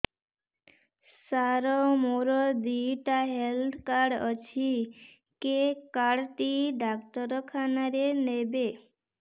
ସାର ମୋର ଦିଇଟା health card ଅଛି କେ କାର୍ଡ ଟି ଡାକ୍ତରଖାନା ରେ ନେବେ